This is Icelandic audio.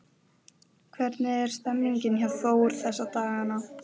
Hvernig er stemningin hjá Þór þessa dagana?